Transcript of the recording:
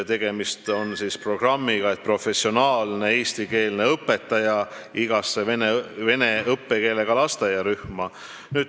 Tegemist on programmiga, mis näeb ette professionaalse eestikeelse õpetaja igasse vene õppekeelega lasteaiarühma.